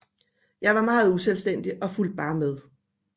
Jeg var meget uselvstændig og fulgte bare med